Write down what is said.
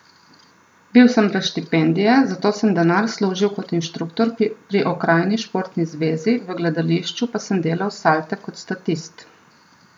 Bil sem brez štipendije, zato sem denar služil kot inštruktor pri okrajni športni zvezi, v gledališču pa sem delal salte kot statist.